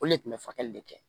O le kun bɛ falen de kɛ